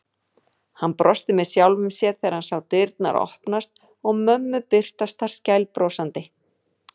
Hann brosti með sjálfum sér þegar hann sá dyrnar opnast og mömmu birtast þar skælbrosandi.